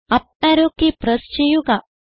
up arrow key press ചെയ്യുക